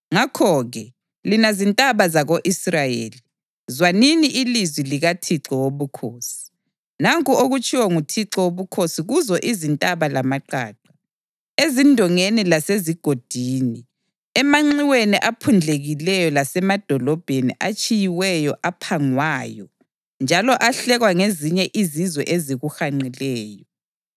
ngakho-ke, lina zintaba zako-Israyeli, zwanini ilizwi likaThixo Wobukhosi: Nanku okutshiwo nguThixo Wobukhosi kuzo izintaba lamaqaqa, ezindongeni lasezigodini, emanxiweni aphundlekileyo lasemadolobheni atshiyiweyo aphangwayo njalo ahlekwa ngezinye izizwe ezikuhanqileyo,